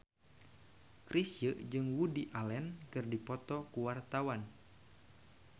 Chrisye jeung Woody Allen keur dipoto ku wartawan